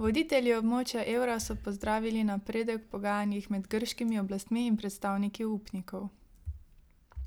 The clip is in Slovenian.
Voditelji območja evra so pozdravili napredek v pogajanjih med grškimi oblastmi in predstavniki upnikov.